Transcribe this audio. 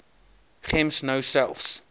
gems nou selfs